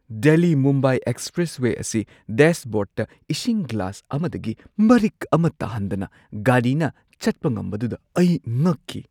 Delhi -Mumbai expressway ꯑꯁꯤ ꯗꯦꯁꯕꯣꯔꯗꯇ ꯏꯁꯤꯡ ꯒꯤꯂꯥꯁ ꯑꯃꯗꯒꯤ ꯃꯔꯤꯛ ꯑꯃ ꯇꯥꯍꯟꯗꯅ ꯒꯥꯔꯤꯅ ꯆꯠꯄ ꯉꯝꯕꯗꯨꯗ ꯑꯩ ꯉꯛꯈꯤ꯫